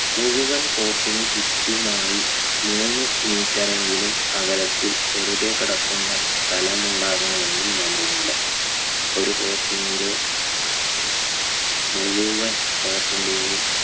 മുഴുവൻ court ന് ചുറ്റുമായി മൂന്ന് metre എങ്കിലും അകലത്തിൽ വെറുതെ കിടക്കുന്ന സ്ഥലമുണ്ടാകണമെന്ന് നിയമമുണ്ട് ഒരു court നുള്ളി മുഴുവൻ court ന്റെയും